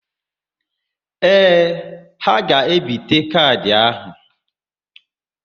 Ee, ha ga-ebite kaadị áhụ̀.